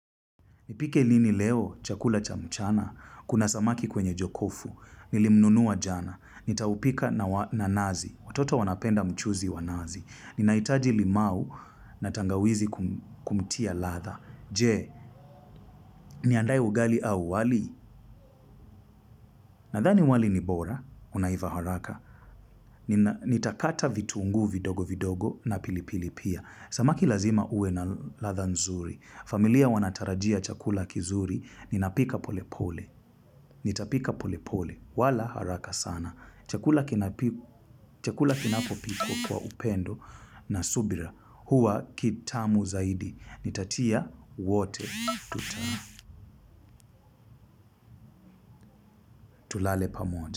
Nipike nini leo, chakula cha mchana, kuna samaki kwenye jokofu, nilimnunuwa jana, nitaupika na nazi, watoto wanapenda mchuzi wa nazi, ninaitaji limau na tangawizi kumtia latha, jee, niandae ugali au wali, nadhani wali ni bora, unaiva haraka, nitakataa vituungu vidogo vidogo na pilipili pia, samaki lazima ue na latha nzuri, familia wanatarajia chakula kizuri, ninapika pole pole, nitapika pole pole. Wala haraka sana. Chakula kinapopikwa kwa upendo na subira. Huwa kitamu zaidi. Nitatia wote. Tuta. Tulale pamoja.